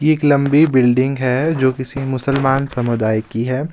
एक लंबी बिल्डिंग है जो किसी मुसलमान समुदाय की है.